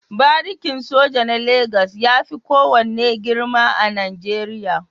Barikin soja na Legas ya fi kowane girma a Najeriya.